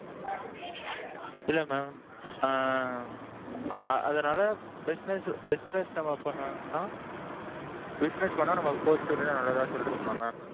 இல்ல mam ஆ ஆ. அதனால business business நம்ம பண்ணனும்னா. business பண்ணா நமக்கு postpaid தான் நல்லதுன்னு சொல்றீங்களா mam?